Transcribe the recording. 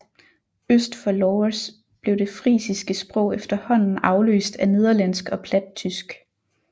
Øst for Lauwers blev det frisiske sprog efterhånden afløst af nederlandsk og plattysk